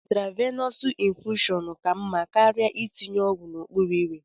Intravenọs infushọn ka mma karịa itinye ọgwụ a n'okpuru ire.